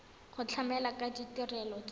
go tlamela ka ditirelo tsa